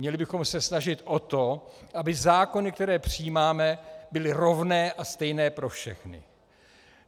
Měli bychom se snažit o to, aby zákony, které přijímáme, byly rovné a stejné pro všechny.